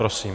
Prosím.